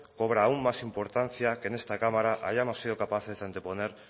cobra aún más importancia que en esta cámara hayamos sido capaces de anteponer